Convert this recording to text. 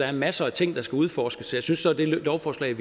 er masser af ting der skal udforskes jeg synes så at det lovforslag